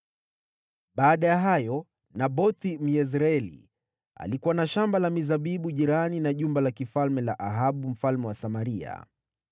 Baada ya hayo, Nabothi, Myezreeli, alikuwa na shamba la mizabibu jirani na jumba la kifalme la Ahabu mfalme wa Samaria.